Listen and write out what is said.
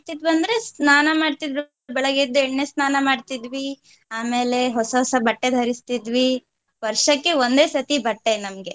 ಅಂದ್ರೆ ಸ್ನಾನ ಮಾಡ್ತಿದ್ವಿ ಬೆಳಗ್ಗೆ ಎದ್ದು ಎಣ್ಣೆ ಸ್ನಾನ ಮಾಡ್ತಿದ್ವಿ ಆಮೇಲೆ ಹೊಸ ಹೊಸ ಬಟ್ಟೆ ಧರಿಸ್ತಿದ್ವಿ ವರ್ಷಕ್ಕೆ ಒಂದೇ ಸರ್ತಿ ಬಟ್ಟೆ ನಮ್ಗೆ.